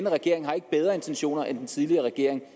regering har ikke bedre intentioner end den tidligere regering